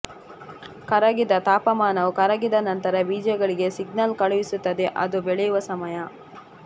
ಕರಗಿದ ತಾಪಮಾನವು ಕರಗಿದ ನಂತರ ಬೀಜಗಳಿಗೆ ಸಿಗ್ನಲ್ ಕಳುಹಿಸುತ್ತದೆ ಅದು ಬೆಳೆಯುವ ಸಮಯ